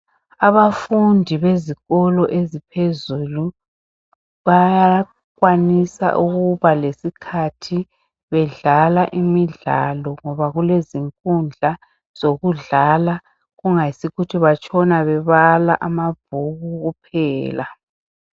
Abafundi bezikolo eziphezulu bayakwanisa ukuba lesikhathi bedlala imidlalo ngoba kulezinkundla zokudlala kungayisikhukuthi batshona bebala amabhuku kuphela.